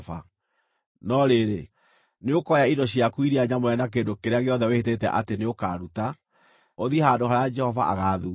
No rĩrĩ, nĩũkoya indo ciaku iria nyamũre na kĩndũ kĩrĩa gĩothe wĩhĩtĩte atĩ nĩũkaruta, ũthiĩ handũ harĩa Jehova agaathuura.